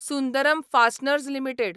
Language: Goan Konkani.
Sundaram fasteners limited